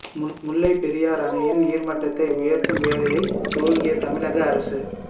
முல்லைப் பெரியாறு அணையின் நீர்மட்டத்தை உயர்த்தும் வேலையை துவங்கிய தமிழக அரசு